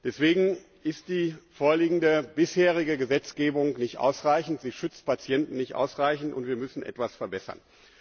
Deswegen ist die vorliegende bisherige Gesetzgebung nicht ausreichend, sie schützt Patienten nicht ausreichend, und wir müssen etwas verbessern.